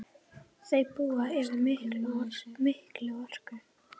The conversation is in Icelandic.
Þau búa yfir mikilli orku.